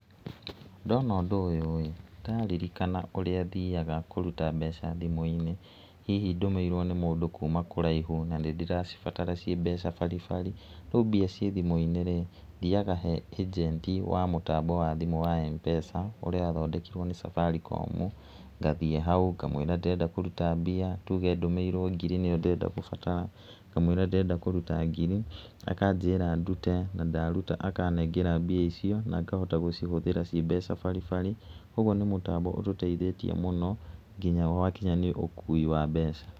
Ndona ũndũ ũyũ rĩ, ndĩraririkana ũrĩa thiaga kũruta mbeca thimũ-inĩ, hihi ndũmĩirwo nĩ mũndũ kuma kũraihu na nĩ ndĩracibatara ciĩ mbeca baribari, rĩu mbia ciĩ thimũ-inĩ rĩ, thiaga he ĩnjenti wa mũtambo wa thimũ wa M-pesa ũrĩa wathondekirwo nĩ Safaricom, ngathiĩ hau ngamwĩra ndĩrenda kũruta mbia, tuge okorwo nĩ ngiri ndĩrabatara, ngamwĩra ndĩrenda kũruta ngiri, akanjĩra ndute, na ndaruta akanengera mbia icio na ngahota gũcihũthĩra ciĩ mbeca baribari, ũguo nĩ mũtambo ũtũteithĩtie mũno, nginya gwakinya nĩ ũkui wa mbeca.